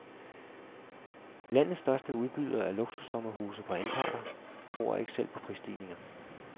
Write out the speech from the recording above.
Landets største udbyder af luksussommerhuse på anparter tror ikke selv på prisstigninger.